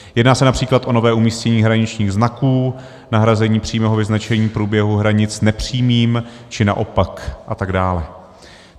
Jedná se například o nové umístění hraničních znaků, nahrazení přímého vyznačení průběhu hranic nepřímým, či naopak, a tak dále.